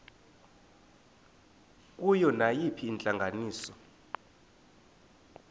kuyo nayiphina intlanganiso